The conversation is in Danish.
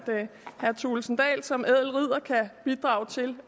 herre thulesen dahl som ædel ridder også kan bidrage til